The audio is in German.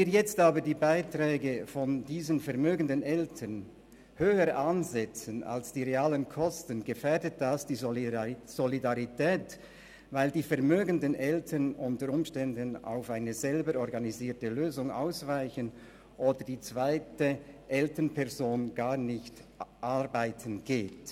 Wenn wir jetzt aber die Beiträge der vermögenden Eltern höher ansetzen als die realen Kosten, gefährdet das die Solidarität, weil die vermögenden Eltern unter Umständen auf eine selber organisierte Lösung ausweichen oder die zweite Elternperson gar nicht arbeiten geht.